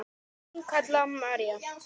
Þín Kalla María.